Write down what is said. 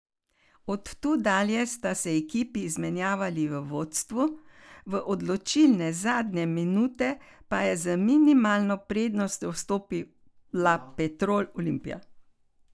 Od tu dalje sta se ekipi izmenjavali v vodstvu, v odločilne zadnje minute pa je z minimalno prednostjo vstopila Petrol Olimpija.